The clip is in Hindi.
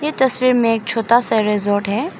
तस्वीर में एक छोटा सा रिजॉर्ट है।